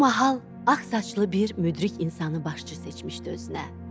Bu mahal ağsaçlı bir müdrik insanı başçı seçmişdi özünə.